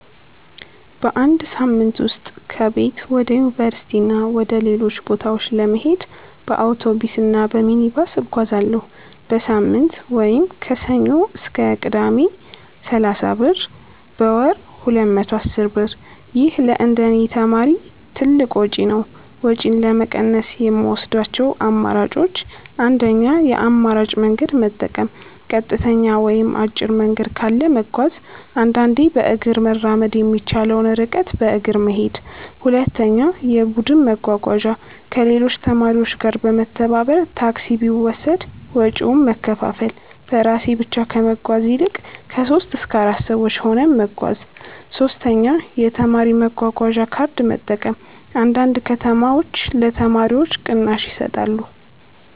በአንድ ሳምንት ውስጥ ከቤት ወደ ዩኒቨርሲቲ እና ወደ ሌሎች ቦታዎች ለመሄድ በአውቶቡስ እና በሚኒባስ እጓዛለሁ። · በሳምንት (ከሰኞ እስከ ቅዳሜ) = 30 ብር · በወር = 210 ብር ይህ ለእንደኔ ተማሪ ትልቅ ወጪ ነው። ወጪን ለመቀነስ የምወስዳቸው አማራጮች 1. የአማራጭ መንገድ መጠቀም · ቀጥተኛ ወይም አጭር መንገድ ካለ መጓዝ · አንዳንዴ በእግር መራመድ የሚቻለውን ርቀት በእግር መሄድ 2. የቡድን መጓጓዣ · ከሌሎች ተማሪዎች ጋር በመተባበር ታክሲ ቢወሰድ ወጪውን መከፋፈል · በራሴ ብቻ ከመጓዝ ይልቅ 3-4 ሰዎች ሆነን መጓዝ 3. የተማሪ መጓጓዣ ካርድ መጠቀም · አንዳንድ ከተሞች ለተማሪዎች ቅናሽ ይሰጣሉ